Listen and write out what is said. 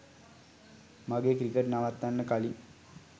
මගේ ක්‍රිකට් නවත්තන්න කලින්